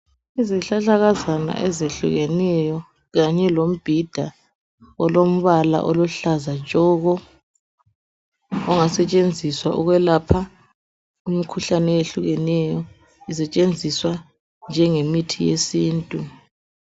Izihlahlakazana ezehlukeneyo kanye lombhida olombala oluhlaza tshoko ongasetshenziswa ukwelapha imikhuhlane eyehlukeneyo isetshenziswa njengemithi yesintu.